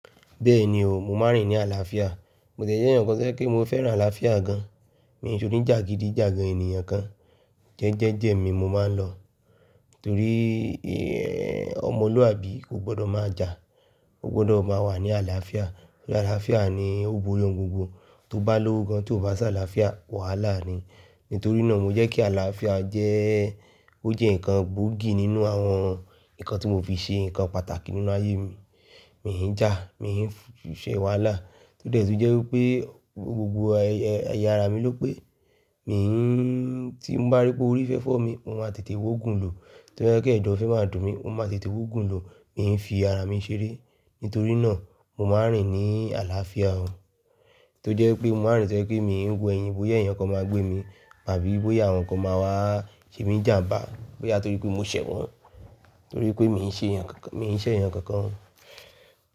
Bẹ́ẹ̀ni o, mo máa ń rìn ní àlàáfíà, mo jẹ́ ẹnìkan ṣẹ́ kí mo fẹ́ràn àlàáfíà gan. Mi ò ní jàgídíjàgan ènìyàn kan. Jẹ́ ẹ jẹ́jẹ̀ mi mo máa lọ. Torí ọmọlúwàbí kò gbọdọ̀ má jà, o gbọdọ̀ má wà ní àlàáfíà. Ni àlàáfíà ni ó gboyè ohun gbogbo. Tó bá lówó gan, tí o bá ṣàláàfíà, wàhálà ni. Nítorí náà mo jẹ́ kí àlàáfíà jẹ́, ó jẹ́ nǹkan burúkú nínú àwọn nǹkan tí mo fi ṣe nǹkan pàtàkì nínú ayé mi. Mi ò hín jà, mi ò hín ṣẹ̀ wàhálà, tó dẹ̀ ẹ tún jẹ́ wí pé gbogbo ẹ̀yà ara mi ló pé, mi ò hín, tí mo bá rí pé orí fẹ́ fọ́ mi, mo máa tètè wó gùn lọ. Tí mo bá gbẹ́ ẹ̀dọ̀ fi máa dùn mi, mo máa tètè wó gùn lọ. Mi ò hín fi ara mi ṣeré. Nítorí náà mo máa ń rìn ní àlàáfíà o. Tó jẹ́ pé mo máa ń rìn tẹ́ ẹ pé mi ò hín wo ẹyin, bóyá ẹnìkan máa gbé mi, báyìí bóyá àwọn kan máa wá ṣe mi jàm̀bá, bóyá torí pé mo ṣẹ̀ wọ́n, torí pé mi ò hín ṣe ẹ̀nìyàn kan kan.